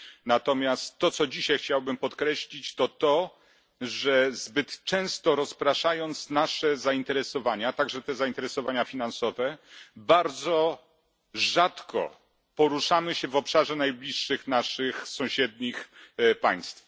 Natomiast to, co dzisiaj chciałbym podkreślić, to to, że zbyt często rozpraszając nasze zainteresowania także te zainteresowania finansowe bardzo rzadko poruszamy się w obszarze najbliższych naszych sąsiednich państw.